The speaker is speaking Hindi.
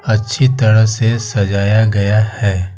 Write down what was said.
अच्छी तरह से सजाया गया है।